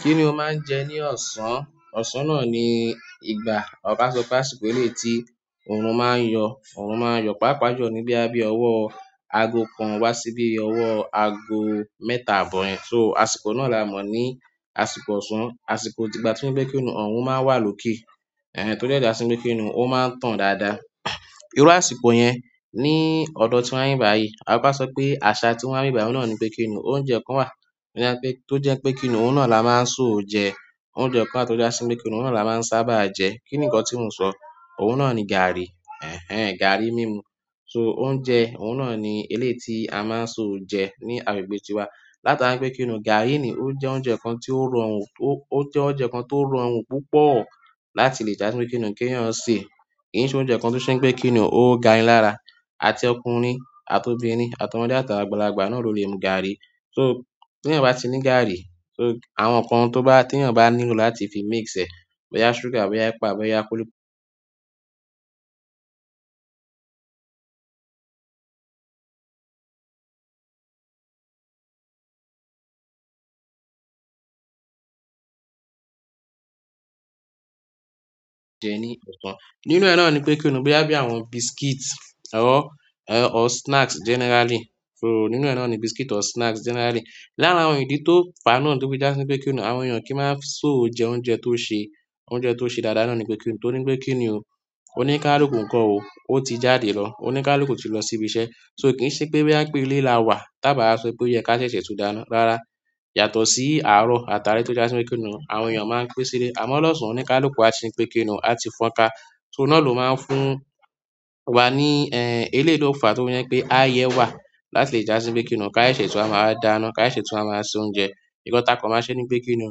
Kí ni ò máa ń jẹ ní ọ̀sán? Ọsán náà ni ìgbà, ọbà sọ pé àsìkò èléyì tí òòrùn máa ń yọ. Òòrùn máa ń yọ pàápàá jù ní bòyà bí ọwọ́ ààgò kàn wá sí bí ọwọ́ ààgò mẹ́ta àbọ̀ yẹn. So, àsìkò náà là mọ̀ ní àsìkò ọ̀sán. Àsìkò tìgbà tí ń gbé kinù, ọ̀rùn máa ń wà lókè. Ẹ̀n, tó jẹ́ dá sí inú kinù, ó máa ń tàn dáàdáà. Irú àsìkò yẹn ní ọ̀dọ̀ tí wọ́n bí báyìí. Ọbà sọ pé àṣà tí wọ́n rí báyìí náà ni pé kinì, òúnjẹ kàn wà tó jẹ́ pé kinù, òun náà la máa ń sò jẹ oúnjẹ kan tó dá sí inú kinù náà la máa ń sábà jẹ. Kí nkàn tí mò ń sọ? Òùn náà ni gàárì. Ẹ̀n ẹn, gàárì mímù. So oúnjẹ, òùn náà ni èléyì tí a máa ń sò jẹ ní àgbègbè tiwà. Láti máa pé kinì, gàárì ni. Ó jẹ́ oúnjẹ kàn tì ó rọrùn, ó jẹ́ oúnjẹ kàn tó rọrùn púpọ̀ láti lè dá pè kinì kí èèyàn sè. Kì í ṣe oúnjẹ kàn tí ó ṣe pé kinù, ó gà lárà. Àti ọkùnrin àti òbìnrin àti ọmọdé àtàwọn àgbàlàgbà náà ló le mú gàárì. So tí èèyàn bá ti ní gàárì, so àwọn nǹkàn tó bá, tí èèyàn bá nílò láti fi mix ẹ. Bòyá ṣúgà, bòyà ẹ̀pà, bòyá kúlíkúlí jẹ ní ọ̀sán. Nínú ẹ nà ni pé kinì bòyà bí àwọn biscuit rọ, or snacks generally. So nínú ẹ nà ni biscuit or snacks generally. Láárín àwọn ìdí tó fà á náà tí ó fi dá sí inú kinù, àwọn èèyàn kì í máa so jẹ oúnjẹ tó ṣe, òúnjẹ tó ṣe dáàdáà náà ni pé kinì. Tòrí pé kinì ò, òníkálùkú kan òó, ó ti jádè lọ. Oníkálùú ti lọ sí ibi iṣẹ́. So kì í ṣe pé bòyà pé ilé là wà, tàbí à sọ pé yé ká ṣèṣè tún dáná. Rárá, yàtọ̀ sí àárọ̀ àtàlé tó já sí inú kinù, àwọn èèyàn máa pín sílẹ̀. Àmọ́ lọ́ọṣàn oníkálùkú á sè ń pé kinì ò, á ti fọ́n ka. So náà ló máa ń fún wà ní, ẹn, èlèyì lò fà tó fì ń jẹ pé á yẹ wà láti lè já sí pè kinì. Ká ṣẹ̀ṣē tùn wàà mà wáà dáná, ká ṣẹ̀ṣẹ tùn wàà mà wàà ṣe òúnjẹ. Ǹkàn takọ̀ má ṣe ní pé kinì ò,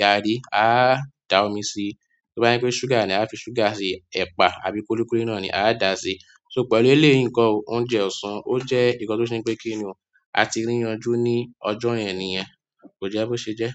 gàárì á dà omi síi. Tò bàà jẹ pè ṣùgà nì ò, àà ò fì ṣùgà sí, ẹpà àbì kùlìkùlì nàà nì àà dàà sì. So pèlù èlèyìì nkàn ò òùnjẹ òsàn ò jẹ nkàn tò ṣè pè kìnì ò, à tì rì yànjù nì ọjọ yẹn nìyẹn kò jẹ bò ṣè jẹ.